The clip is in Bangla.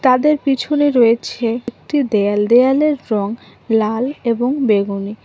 তাদের পিছনে রয়েছে একটি দেয়াল দেয়ালের রং লাল এবং বেগুনি।